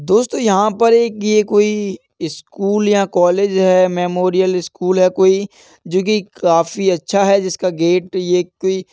दोस्तों यहाँ पर एक ये कोई ईस्कूल यहां कॉलेज है। मेमोरियल स्कूल है कोई जो की काफी अच्छा है जिसका गेट ये कोई --